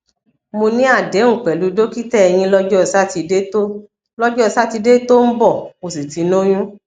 mo ní àdéhùn pẹlú dókítà eyín lọjọ sátidé tó lọjọ sátidé tó ń bọ mo sì ti lóyún